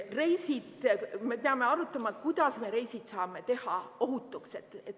Reisid – me peame arutama, kuidas me reisid saame teha ohutuks.